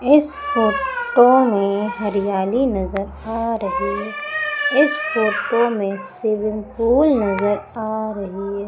इस फोटो में हरियाली नजर आ रही है इस फोटो में स्विमिंग पूल नजर आ रही है।